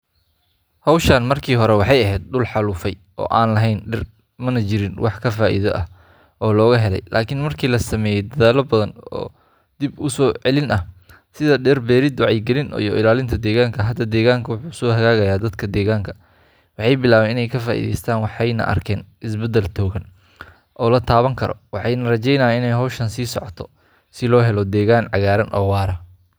Hawshan markii hore waxay ahayd dhul xaalufay oo aan lahayn dhir, mana jirin wax ka faa’iido ah oo laga helayay. Laakiin markii la sameeyay dadaallo badan oo dib u soo celin ah sida dhir beerid, wacyigelin iyo ilaalinta deegaanka, hadda deegaanka wuu soo hagaagayaa. Dadka deegaanka waxay bilaabeen inay ka faa’iideystaan, waxayna arkeen isbeddel togan oo la taaban karo. Waxaana rajeyneynaa in hawshan ay sii socoto si loo helo deegaan cagaaran oo waara.